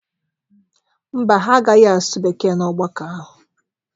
Mba, ha agaghị asụ Bekee n'ọgbakọ ahụ.